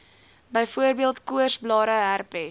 byvoorbeeld koorsblare herpes